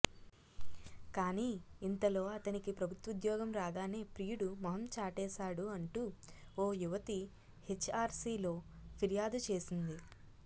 కానీ ఇంతలో అతనికి ప్రభుత్వోద్యగం రాగానే ప్రియుడు మొహం చాటేశాడు అంటూ ఓ యువతి హెచ్ఆర్సీలో ఫిర్యాదు చేసింది